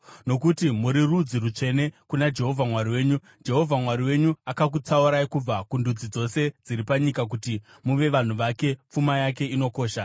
Nokuti muri rudzi rutsvene kuna Jehovha Mwari wenyu, Jehovha Mwari wenyu akakutsaurai kubva kundudzi dzose dziri panyika kuti muve vanhu vake, pfuma yake inokosha.